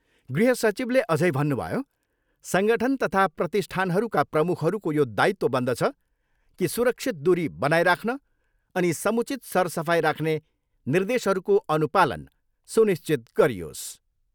गृह सचिवले अझै भन्नुभयो सङ्गठन तथा प्रतिष्ठानहरूका प्रमुखहरूको यो दायित्व बन्दछ कि सुरक्षित दुरी बनाइराख्न अनि समुचित सरसफाइ राख्ने निर्देशहरूको अनुपालन सुनिश्चित गरियोस्।